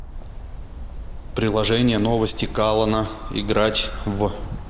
приложение новости калана играть в